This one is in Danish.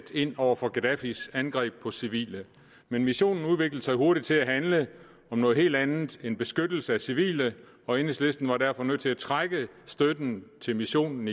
ind over for gaddafis angreb på civile men missionen udviklede sig hurtigt til at handle om noget helt andet end beskyttelse af civile og enhedslisten var derfor nødt til igen at trække støtten til missionen